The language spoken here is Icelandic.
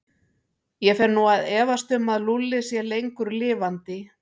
Ég fer nú að efast um að Lúlli sé lengur lifandi.